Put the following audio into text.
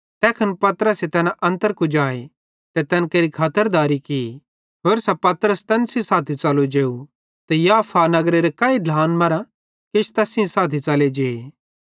तैखन पतरसे तैना अन्तर कुजाए ते तैन केरि खातरदारी की होरसां पतरस तैन सेइं साथी च़लो जेव ते याफा नगरेरे काई ढ्लान मरां किछ तैस सेइं साथी च़ले जे